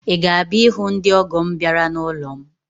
Ị ga-abịa ịhụ ndị ọ́gọ̀ m bịara n'ụlọ m?